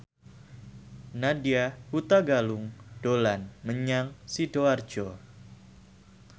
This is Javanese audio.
Nadya Hutagalung dolan menyang Sidoarjo